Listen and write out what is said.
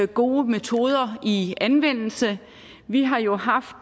gode metoder i anvendelse vi har jo haft